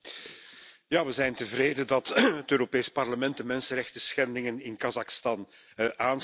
Ja, we zijn tevreden dat het Europees Parlement de mensenrechtenschendingen in Kazachstan aansnijdt.